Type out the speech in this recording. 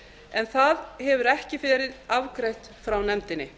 en það hefur ekki verið afgreitt frá nefndinni